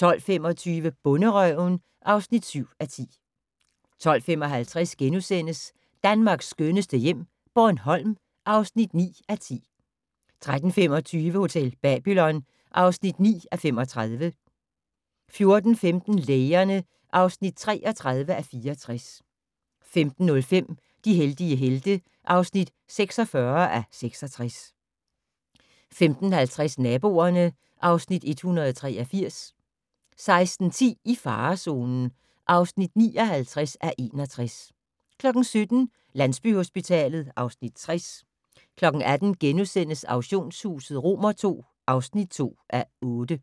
12:25: Bonderøven (7:10) 12:55: Danmarks skønneste hjem - Bornholm (9:10)* 13:25: Hotel Babylon (9:32) 14:15: Lægerne (33:64) 15:05: De heldige helte (46:66) 15:50: Naboerne (Afs. 183) 16:10: I farezonen (59:61) 17:00: Landsbyhospitalet (Afs. 60) 18:00: Auktionshuset II (2:8)*